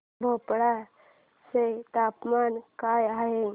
भोपाळ चे तापमान काय आहे